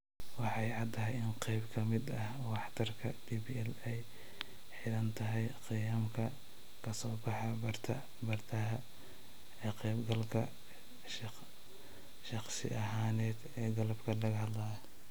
Way caddahay in qayb ka mid ah waxtarka DPL ay ku xidhan tahay qiyamka ka soo baxa bartaha ee ka qaybgalka shakhsi ahaaneed ee qalabka laga hadlayo.